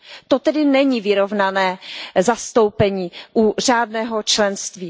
To tedy není vyrovnané zastoupení u řádného členství.